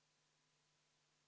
Anastassia Kovalenko-Kõlvart, palun!